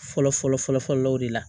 Fɔlɔ fɔlɔ fɔlɔ fɔlɔw de la